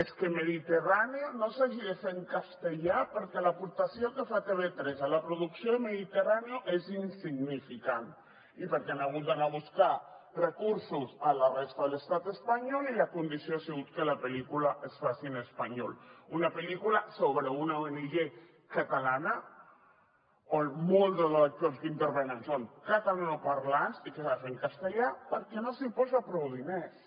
és que mediterráneo no s’hagi de fer en castellà perquè l’aportació que fa tv3 a la producció de mediterráneohan hagut d’anar a buscar recursos a la resta de l’estat espanyol i la condició ha sigut que la pel·lícula es faci en espanyol una pel·lícula sobre una ong catalana on molts dels actors que intervenen són catalanoparlants i que s’ha de fer en castellà perquè no s’hi posa prou diners